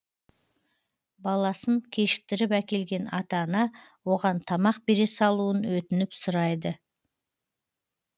баласын кешіктіріп әкелген ата ана оған тамақ бере салуын өтініп сұрайды